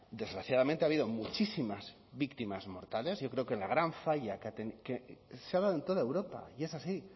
desgraciadamente ha habido muchísimas víctimas mortales yo creo que la gran falla que se ha dado en toda europa y es así